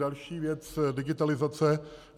Další věc - digitalizace.